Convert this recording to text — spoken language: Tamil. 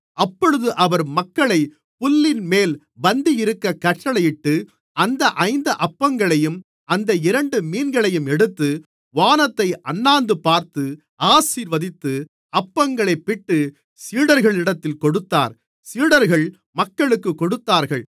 அப்பொழுது அவர் மக்களைப் புல்லின்மேல் பந்தியிருக்கக் கட்டளையிட்டு அந்த ஐந்து அப்பங்களையும் அந்த இரண்டு மீன்களையும் எடுத்து வானத்தை அண்ணாந்துபார்த்து ஆசீர்வதித்து அப்பங்களைப் பிட்டு சீடர்களிடத்தில் கொடுத்தார் சீடர்கள் மக்களுக்குக் கொடுத்தார்கள்